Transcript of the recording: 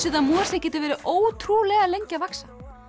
að mosi getur verið ótrúlega lengi að vaxa